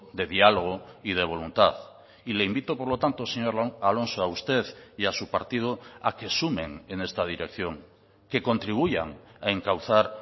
de diálogo y de voluntad y le invito por lo tanto señor alonso a usted y a su partido a que sumen en esta dirección que contribuyan a encauzar